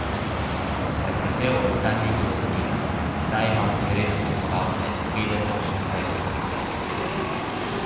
Ko sem ga prevzel, zanj ni bilo zanimanja, zdaj imamo že redne obiskovalce, petdeset in več na koncert.